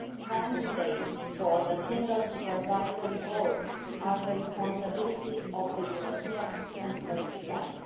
Candidates for the Single Supervisory Board are the responsibility of the European Central Bank.